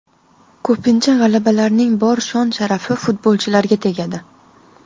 Ko‘pincha g‘alabalarning bor shon-sharafi futbolchilarga tegadi.